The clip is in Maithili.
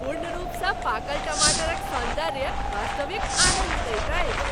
पूर्ण रूपसँ पाकल टमाटरक सौन्दर्य वास्तविक आनन्द दैत अछि।